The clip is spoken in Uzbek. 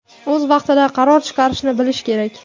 O‘z vaqtida qaror chiqarishni bilish kerak.